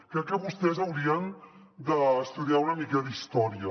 crec que vostès haurien d’estudiar una mica d’història